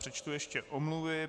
Přečtu ještě omluvy.